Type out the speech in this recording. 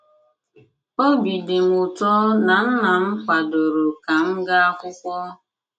Obi dị m ụtọ na nnam kwadoro ka m gaa akwụkwọ.